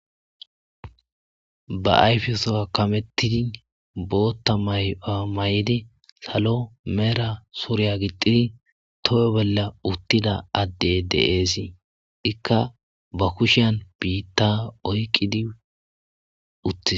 Ba ayfiya kamettidi bootta mayowa mayidi salo mala suriya gixxidi tohoy bolla uttida addeyi de7ees, ikka ba kushiyan biitta oykkidi de7ees.